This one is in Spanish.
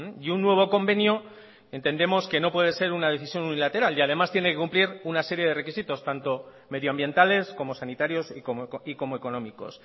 y un nuevo convenio entendemos que no puede ser una decisión unilateral y además tiene que cumplir una serie de requisitos tanto medioambientales como sanitarios y como económicos